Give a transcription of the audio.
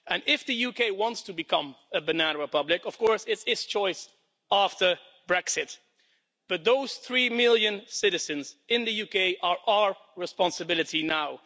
If the UK wants to become a banana republic, of course that is its choice after Brexit. But those three million citizens in the UK are our responsibility now.